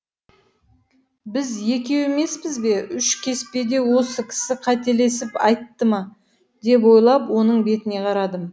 біз екеу емеспіз бе үш кеспе деп осы кісі қателесіп айтты ма деп ойлап оның бетіне қарадым